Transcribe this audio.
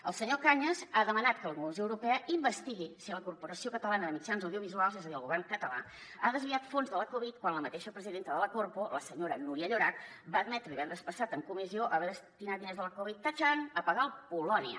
el senyor cañas ha demanat que la comissió europea investigui si la corporació catalana de mitjans audiovisuals és a dir el govern català ha desviat fons de la covid quan la mateixa presidenta de la corpo la senyora núria llorach va admetre divendres passat en comissió haver destinat diners de la covid tatxan a pagar el polònia